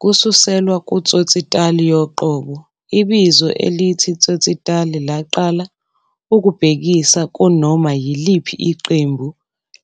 Kususelwa kuTsotsitaal yoqobo, ibizo elithi tsotsitaal laqala ukubhekisa kunoma yiliphi iqembu